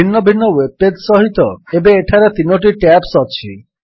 ଭିନ୍ନ ଭିନ୍ନ web page ସହିତ ଏବେ ଏଠାରେ ୩ଟି ଟ୍ୟାବ୍ସ ଅଛି